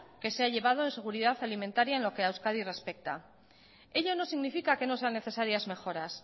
que se ha llevado en seguridad alimentaria en lo que a euskadi respecta ello no significa que no sean necesarias mejoras